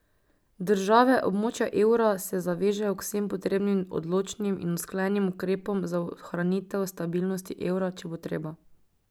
Države območja evra se zavežejo k vsem potrebnim odločnim in usklajenim ukrepom za ohranitev stabilnosti evra, če bo treba.